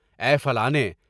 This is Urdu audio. اے فلانے!